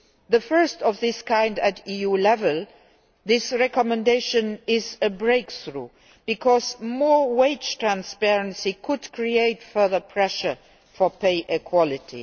The first of its kind at EU level, this recommendation is a breakthrough, because more wage transparency could create further pressure for pay equality.